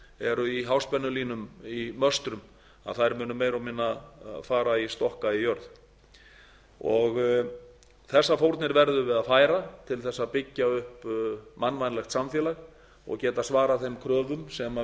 eru í háspennulínum í möstrum munu meira og minna fara í stokka í jörð þessar fórnir verðum við að færa til að byggja upp mannvænlegt samfélag og geta svarað þeim